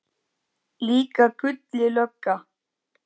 Líka Gulli lögga.